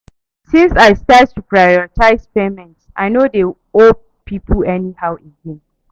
Since I start to prioritize payments, I no dey owe pipo anyhow again.